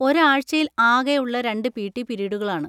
ഒരു ആഴ്ചയിൽ ആകെ ഉള്ള രണ്ട് പി. ടി പിരീഡുകളാണ്.